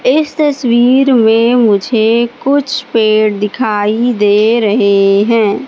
इस तस्वीर में मुझे कुछ पेड़ दिखाई दे रहे हैं।